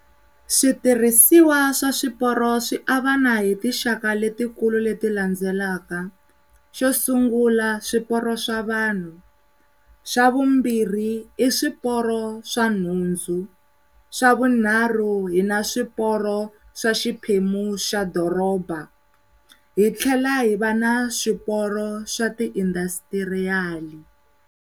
Switirhisiwa swa swiporo swiavana hi tinxaka leti kulu leti landzelaka, xo sungula swipooro swa vanhu, swa vumbirhi i swiporo swa nhundzu, swa vunharhu hina swiporo swa xiphemu xa doroba hi tlhela hi va na swiporo swa ti-industrutrial-i.